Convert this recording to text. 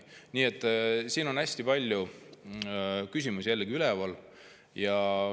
Nii et siin on hästi palju küsimusi üleval.